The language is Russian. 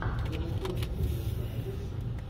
роба коэна кино у тебя найдется